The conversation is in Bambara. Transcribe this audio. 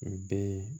U bɛ yen